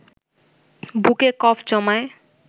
বুকে কফ জমায়